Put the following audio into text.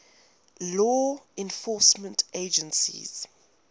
law enforcement agencies